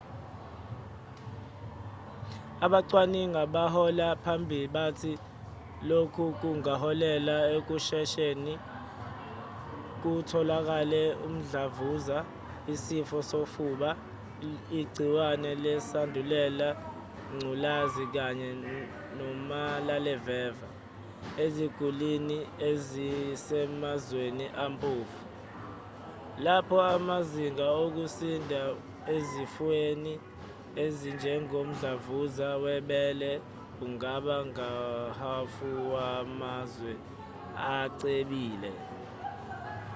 abacwaningi abahola phambili bathi lokhu kungaholela ekushesheni kutholeke umhlavuza isifo sofuba igciwane lesandulela ngculazi kanye nomalaleveva eziguliniezisemazweni ampofu lapho amazinga okusinda ezifweni ezinjengomdlavuza webele angaba nguhhafuwamazwe acebile